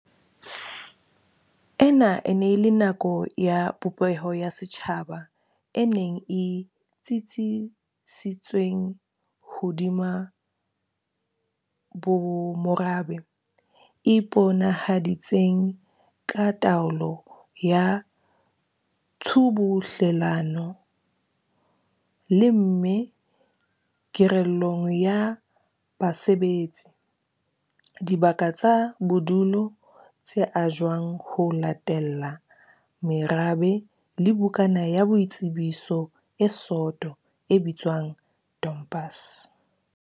Ena e ne e le nako ya popeho ya setjhaba e neng e tsitsisitsweng hodima bomorabe, e iponahaditseng ka taolo ya tshubuhlelano, lemme kerelong ya basebetsi, dibaka tsa bodulo tse ajwang ho latella merabe le bukana ya boitsebiso e soto e bitswang tompase.